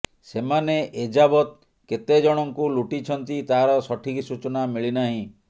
ସେମାନେ ଏଯାବତ୍ କେତେଜଣଙ୍କୁ ଲୁଟିଛନ୍ତି ତାର ସଠିକ୍ ସୂଚନା ମିଳିନାହିଁ